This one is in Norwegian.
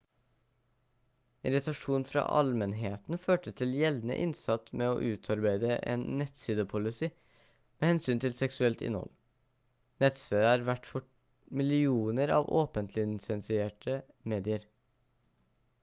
irritasjon fra allmennheten førte til gjeldende innsats med å utarbeide en nettsidepolicy med hensyn til seksuelt innhold nettstedet er vert for millioner av åpent-lisensierte medier